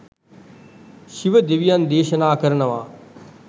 ශිව දෙවියන් දේශනා කරනවා.